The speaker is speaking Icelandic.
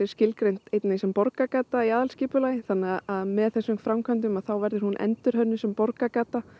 skilgreind sem borgargata í aðalskipulagi þannig að með þessum framkvæmdum þá verður hún endurnýjuð sem borgargata